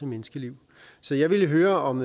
menneskeliv så jeg vil høre om